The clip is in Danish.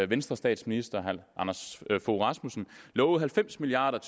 venstrestatsminister herre anders fogh rasmussen lovede halvfems milliard